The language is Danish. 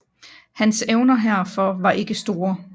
Hans evner herfor var ikke store